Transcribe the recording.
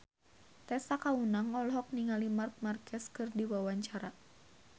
Tessa Kaunang olohok ningali Marc Marquez keur diwawancara